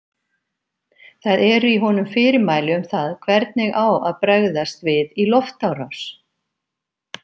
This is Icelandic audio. Það eru í honum fyrirmæli um það hvernig á að bregðast við í loftárás!